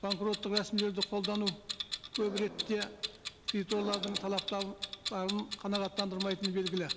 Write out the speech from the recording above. банкроттық рәсімдерді қолдану көп ретте кредиторлардың қанағаттандырмайтыны белгілі